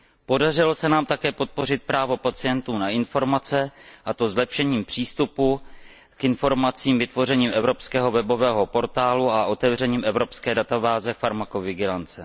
Podařilo se nám také podpořit právo pacientů na informace, a to zlepšením přístupu k informacím vytvořením evropského webového portálu a otevřením evropské databáze farmakovigilance.